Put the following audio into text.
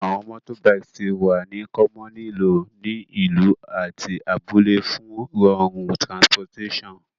Awọn motorbikes ti wa ni commonly lo ni ilu ati abule fun rorun transportation